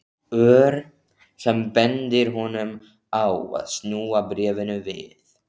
Ör sem bendir honum á að snúa bréfinu við.